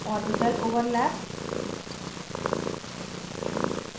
orbital overlap